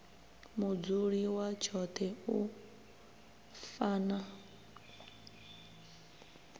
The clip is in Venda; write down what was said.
mudzuli wa tshoṱhe u fana